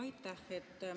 Aitäh!